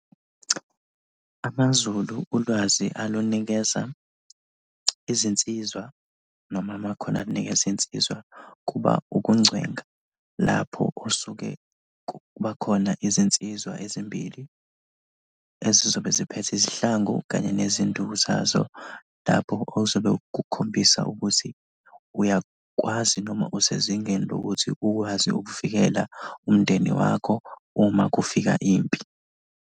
AmaZulu ulwazi alunikeza izinsizwa noma amakhono alunikeza iy'nsizwa kuba ukungcwenga, lapho osuke kuba khona izinsizwa ezimbili ezizobe ziphethe izihlangu kanye nezinduku zazo, lapho ozobe kukhombisa ukuthi uyakwazi noma usezingeni lokuthi ukwazi ukuvikela umndeni wakho uma kufika impi.